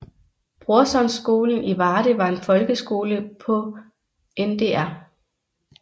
Brorsonskolen i Varde var en folkeskole på Ndr